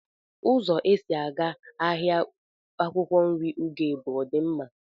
Uzo esi aga n'ahia akwukwo nri ugeb odi nma?